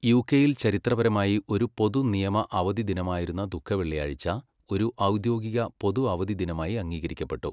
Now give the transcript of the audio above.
യുകെയിൽ ചരിത്രപരമായി ഒരു പൊതുനിയമ അവധിദിനമായിരുന്ന ദുഃഖവെള്ളിയാഴ്ച ഒരു ഔദ്യോഗിക പൊതുഅവധിദിനമായി അംഗീകരിക്കപ്പെട്ടു.